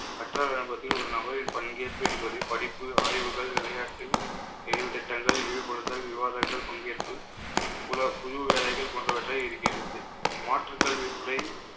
ஒரு நபரில் பங்கேற்பு என்பது படிப்பு ஆய்வுகள் விளையாட்டில் செயல்திட்டங்கள் ஈடுபடுதல் விவாதங்கள் பங்கேற்பு புல~ புது வேலைகள் போன்றவற்றை இருக்கிறது. மாற்றுக் கல்வி முறை